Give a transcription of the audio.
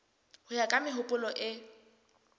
ho ya ka mehopolo e